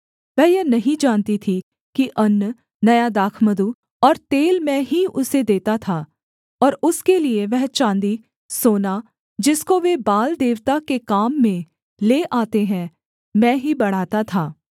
वह यह नहीं जानती थी कि अन्न नया दाखमधु और तेल मैं ही उसे देता था और उसके लिये वह चाँदी सोना जिसको वे बाल देवता के काम में ले आते हैं मैं ही बढ़ाता था